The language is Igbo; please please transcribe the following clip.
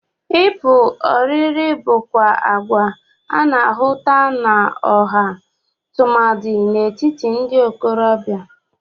Ịpụ oriri bụkwa agwa a na-ahụta n'ọha tụmadị n'etiti ndị ntorọbịa.